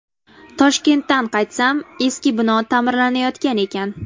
Toshkentdan qaytsam, eski bino ta’mirlanayotgan ekan.